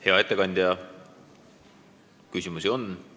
Hea ettekandja, küsimusi on.